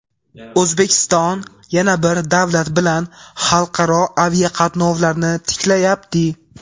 O‘zbekiston yana bir davlat bilan xalqaro aviaqatnovlarni tiklayapti.